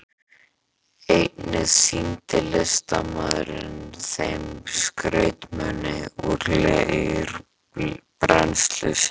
Einnig sýndi listamaðurinn þeim skrautmuni úr leirbrennslu sinni.